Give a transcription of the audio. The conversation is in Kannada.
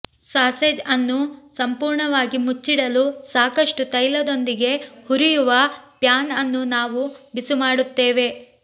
ಸಾಸೇಜ್ ಅನ್ನು ಸಂಪೂರ್ಣವಾಗಿ ಮುಚ್ಚಿಡಲು ಸಾಕಷ್ಟು ತೈಲದೊಂದಿಗೆ ಹುರಿಯುವ ಪ್ಯಾನ್ ಅನ್ನು ನಾವು ಬಿಸಿಮಾಡುತ್ತೇವೆ